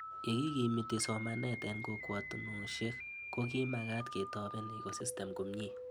Ye kikimiti somanet eng' kokwatonoshek ko kimagat ketopen Ecosystem komie